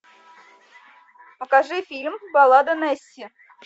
покажи фильм баллада несси